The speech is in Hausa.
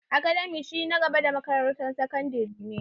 Academia shi na en makarantar gaba da sakandare ne